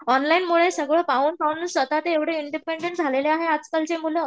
ऑनलाईनमुळं सगळं स्वतः ते एवढे इंडिपेंडेंट झालेले आहे आजकालचे मुलं